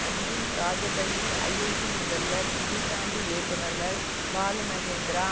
அஞ்சும் Rajabali IIT முதல்வர் இடிசாண்டி இயக்குனர்கள் பாலுமகேந்திரா